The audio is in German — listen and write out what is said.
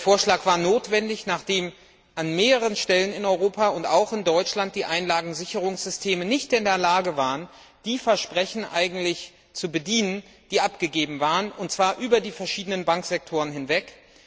Der Vorschlag war notwendig, nachdem an mehreren Stellen in Europa und auch in Deutschland die Einlagensicherungssysteme nicht in der Lage waren, die Versprechen zu bedienen, die abgegeben waren, und zwar über die verschiedenen Bankensektoren hinweg.